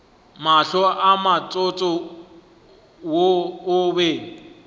mahlo motsotso wo o be